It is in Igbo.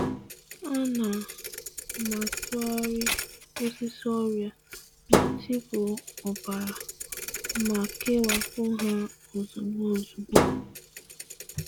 Ana m eji eriri uhie uhie nye osisi ndi bu ọrịa akara, ma wezuga ha iche ozugbo.